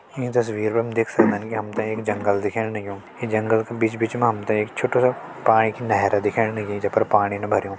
ईं तस्वीर मा हम देख सक्दन की हम तें एक जंगल दिखेण लग्युं ये जंगल का बिच बिच मा हम ते एक छोटु सा पाणी की नहर दिखेण लगीं जे पर पाणीन भर्युं।